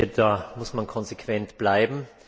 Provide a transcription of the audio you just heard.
Da muss man konsequent bleiben.